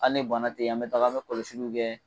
Ali ni bana te ye an be taga an be kɔlɔsiliw kɛ